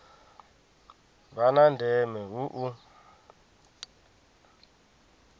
vha na ndeme hu u